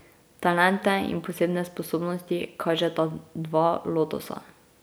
Talente in posebne sposobnosti kažeta dva lotosa.